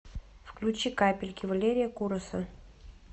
включи капельки валерия кураса